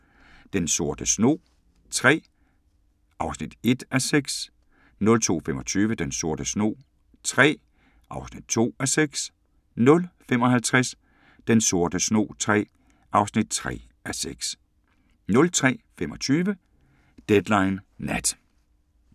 01:55: Den sorte snog III (1:6) 02:25: Den sorte snog III (2:6) 02:55: Den sorte snog III (3:6) 03:25: Deadline Nat